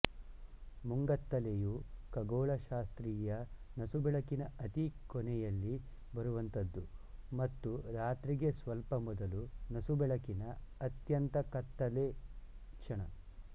ಮುಂಗತ್ತಲೆಯು ಖಗೋಳಶಾಸ್ತ್ರೀಯ ನಸುಬೆಳಕಿನ ಅತಿ ಕೊನೆಯಲ್ಲಿ ಬರುವಂಥದ್ದು ಮತ್ತು ರಾತ್ರಿಗೆ ಸ್ವಲ್ಪ ಮೊದಲು ನಸುಬೆಳಕಿನ ಅತ್ಯಂತ ಕತ್ತಳೆ ಕ್ಷಣ